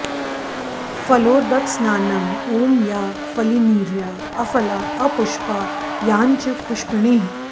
फलोदकस्नानम् ॐ याः फ॒लिनी॒र्या अ॑फ॒ला अ॑पु॒ष्पा याश्च॑ पुष्पिणीः॑